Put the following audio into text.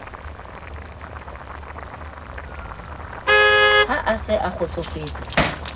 ha a se a kgotsofetse